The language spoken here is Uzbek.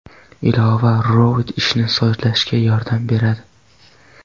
Ilova robot ishini sozlashga yordam beradi.